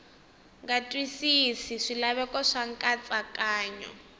nga twisisi swilaveko swa nkatsakanyo